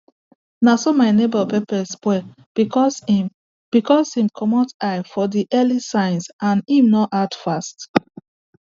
na so my neighbour pepper spoil because him because him comot eye for the early signs and him no act fast